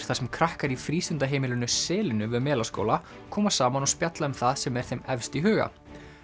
þar sem krakkar í frístundaheimilinu selinu við Melaskóla koma saman og spjalla um það sem er þeim efst í huga